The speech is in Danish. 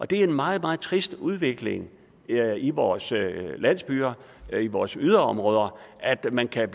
det er en meget meget trist udvikling i i vores landsbyer i vores yderområder at man kan